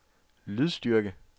lydstyrke